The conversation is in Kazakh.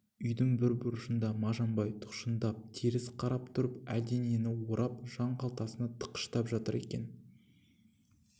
үйдің бір бұрышында мажан бай тұқшыңдап теріс қарап тұрып әлденені орап жан қалтасына тыққыштап жатыр екен